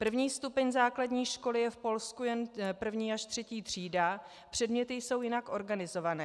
První stupeň základní školy je v Polsku jen první až třetí třída, předměty jsou jinak organizovány.